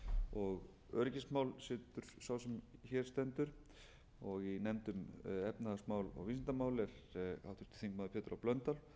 og öryggismál situr sá sem hér stendur og í nefnd um efnahagsmál og vísindamál er háttvirtur þingmaður pétur h blöndal